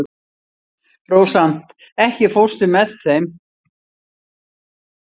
Rósant, ekki fórstu með þeim?